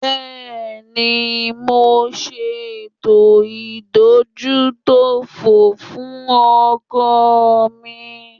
Bẹ́ẹ̀ni, mo ṣe ètò ìdójútòfò fún ọkọ̀ mi